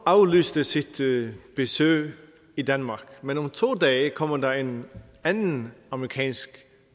aflyste sit besøg i danmark men om to dage kommer der en anden amerikansk